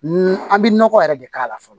An bɛ nɔgɔ yɛrɛ de k'a la fɔlɔ